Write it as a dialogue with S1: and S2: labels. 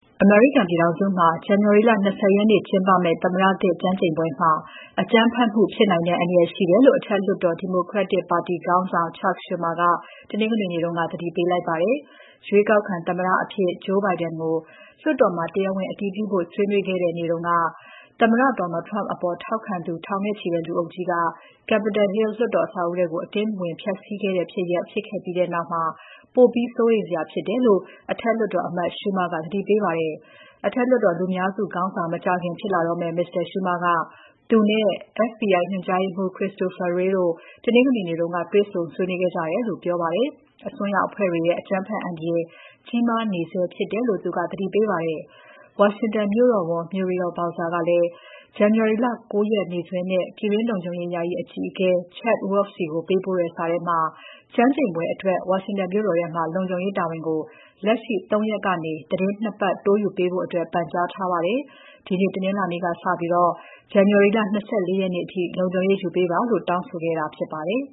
S1: အမေရိကန်ပြည်ထောင်စုမှာ ဇန်နဝါရီလ ၂၀ ရက်နေ့ ကျင်းပမယ့် သမ္မတသစ် ကျမ်းကျိန်ပွဲမှာ အကြမ်းဖက်မှု ဖြစ်နိုင်တဲ့ အန္တရာယ်ရှိတယ်လို့ အထက်လွှတ်တော် Democratic ပါတီခေါင်းဆောင် Chuck Schumer က တနင်္ဂနွေနေ့က သတိပေးလိုက်ပါတယ်။ ရွေးကောက်ခံသမ္မတအဖြစ် Joe Biden ကိုလွှတ်တော်မှာ တရားဝင်အတည်ပြုဖို့ ဆွေးနွေးခဲ့တဲ့ နေ့တုန်းက သမ္မတ Donald Trump အပေါ်ထောက်ခံသူ ထောင်နဲ့ချီတဲ့လူအုပ်ကြီးက Capitol Hill လွှတ်တော် အဆောက်အဦးထဲ အတင်းဖျက်စီး ဝင်ရောက်ခဲ့တဲ့ဖြစ်ရပ် ဖြစ်ခဲ့ပြီးနောက် ပိုပြီးစိုးရိမ်စရာဖြစ်တယ်လို့ အထက်လွှတ်တော်အမတ် Schumer က သတိပေးပါတယ်။ အထက်လွှတ်တော်လူများစုခေါင်းဆောင် မကြာခင်ဖြစ်လာတော့မယ့် Mr. Schumer က သူနဲ့ FBI ညွှန်ကြားရေးမှူး Christopher Wray တို့ တနင်္ဂနွေနေ့က တွေ့ဆုံဆွေးနွေးခဲ့ကြတယ်လို့ပြောပါတယ်။ အစွန်းရောက်အဖွဲ့တွေရဲ့ အကြမ်းဖက်အန္တရာယ် ကြီးမားနေဆဲဖြစ်တယ်လို့ သူကပြောပါတယ်။ ဝါရှင်တန်မြို့တော်ဝန် Muriel Bowser ကလည်း ဇန်နဝါရီလ ၉ ရက်နေ့စွဲနဲ့ ပြည်တွင်းလုံခြုံရေး ယာယီအကြီးအကဲ Chad Wolf ဆီကို ပေးပို့တဲ့ စာထဲမှာ ကျမ်းကျိန်ပွဲအတွက် ဝါရှင်တန်မြို့တော်ထဲမှာ လုံခြုံရေးတာဝန်ကို လက်ရှိ ၃ ရက်ကနေ သီတင်း ၂ ပတ် တိုးယူပေးဖို့ ပန်ကြားခဲ့ပါတယ်။ ဒီနေ့ တနင်္လာနေ့က စပြီး ဇန်နဝါရီလ ၂၄
S2: ရက်နေ့အထိ လုံခြုံရေးယူပေးပါလို့ တောင်းဆိုခဲ့တာဖြစ်ပါတယ်